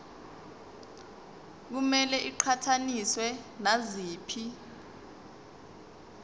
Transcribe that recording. kumele iqhathaniswe naziphi